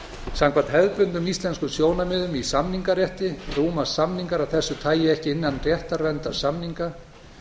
samkvæmt hefðbundnum íslenskum sjónarmiðum í samningarétti rúmast samningar af þessu tagi ekki innan réttarverndar samninga